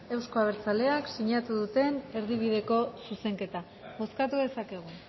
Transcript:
euzko abertzaleak sinatu duten erdibideko zuzenketa bozkatu dezakegu